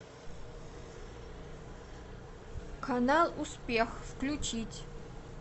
канал успех включить